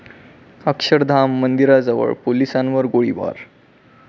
अक्षरधाम मंदिराजवळ पोलिसांवर गोळीबार